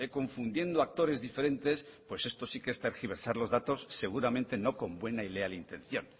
confundiendo actores diferentes pues esto sí que es tergiversar los datos seguramente no con buena y leal intención